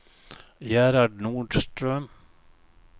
Gerhard Nordström